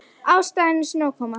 Ástæðan er snjókoma